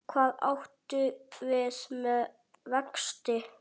Hvað áttu við með vexti?